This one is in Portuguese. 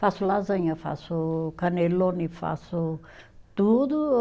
Faço lasanha, faço cannelloni, faço tudo.